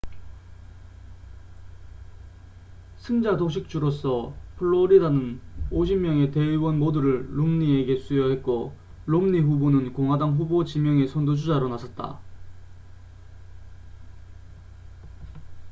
승자독식 주로서 플로리다는 50명의 대의원 모두를 롬니에게 수여했고 롬니 후보는 공화당 후보 지명의 선두 주자로 나섰다